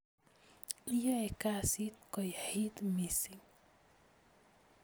Iyoeh kasit koyait mising